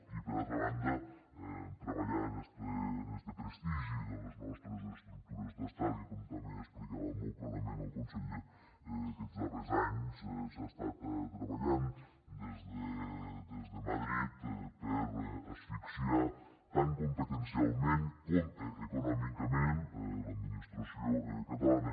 i per altra banda treballar en este prestigi de les nostres estructures d’estat i que com també explicava molt clarament el conseller aquests darrers anys s’ha estat treballant des de madrid per asfixiar tant competencialment com econòmicament l’administració catalana